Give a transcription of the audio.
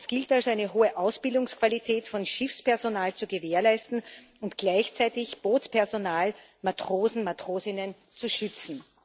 Es gilt also, eine hohe Ausbildungsqualität von Schiffspersonal zu gewährleisten und gleichzeitig Bootspersonal Matrosen, Matrosinnen zu schützen.